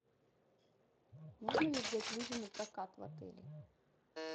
можно ли взять лыжи напрокат в отеле